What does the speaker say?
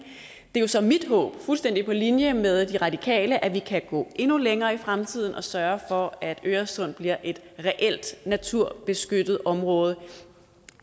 er så mit håb fuldstændig på linje med de radikale at vi kan gå endnu længere i fremtiden og sørge for at øresund bliver et reelt naturbeskyttet område